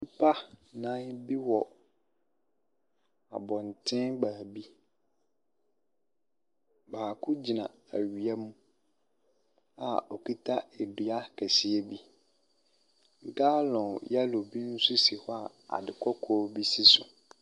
Nnipa nnan bi wɔ abɔnten baabi. Baako gyina awia mu a okita adua kɛseɛ bi. Galɔn yɛlo bi nso si hɔ a ade kɔkɔɔ si so.